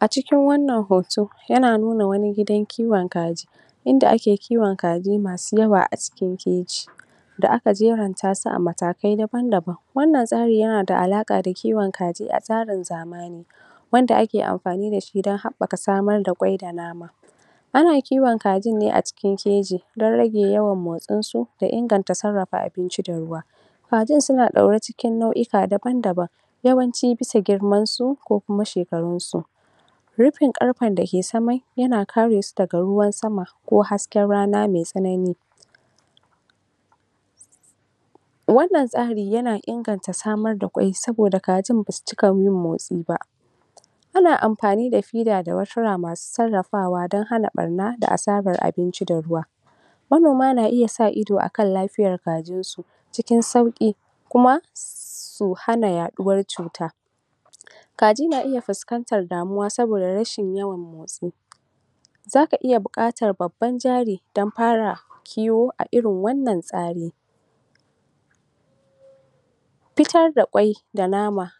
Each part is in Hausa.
A cikin wannan hoto yana nuna wani gidan kiwon kaji inda ake kiwon kaji masu yawa a cikin keji da aka jeranta su a matakai daban daban. Wannan tsari yana alaka da kiwon kaji na tsarin zamani wanda ake amfani da shi dan habaka kwai da nama. A na kiwon kajin ne a keji dan ya rage yawan motsinsu da inganta sarrafa abinci da ruwa. Kajin suna daure cikin nau'ika daban-daban, yawanci bisa girmansu ko kuma shekarunsu. Rufin karfen da ke saman yana kare su daga ruwan sama ko hasken rana mai tsanani. Wannan tsarin yana inganta samar da kwai saboda kajin ba su cika yin motsi ba. Ana yin amfani da feeder da Masu sarrafawa dan hana barna da asarar abinci da ruwa, manoma na iya sa ido akan lafiyan kajinsu cikin sauki kuma su hana yaduwar cuta. Kaji na iya fuskantar damuwa saboda rashin yawan motsi, za ka iya bukatar babban jari dan fara kiwo a irin wannan tsari. Fitar da kwai da nama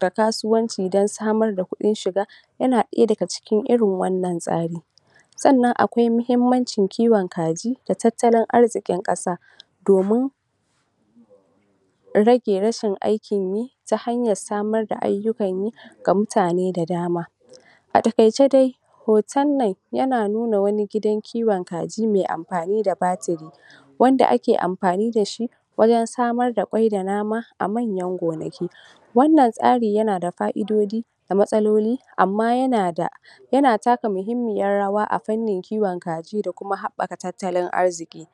da kasuwanci dan samar da kudin shiga yana daya daga cikin irin wannan tsari sannan akwai muhimmanci kiwon kaji da tattalin arzikin kasa domin rage rashin aikin yi ta hanyar samar da ayyukan yi ga mutane da dama. A takaice dai hoton nan yana nuna wani gidan kiwon kaji mai amfani da batir wanda ake amfani da shi wajen samar da kwai da nama a manyan gonaki wannan tsari yana da fa'idoji da matsaloli amma yana da yana taka muhimmiyan rawa a fannin kiwon kaji da kuma habaka tattalin arziki.